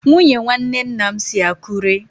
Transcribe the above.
Nwunye nwanne nna m si Akure.